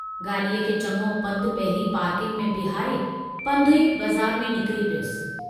गाडीअ खे चङो पंधु पहिरीं पार्किंग में बीहारे पंधु ई बज़ार में निकरी पियुस।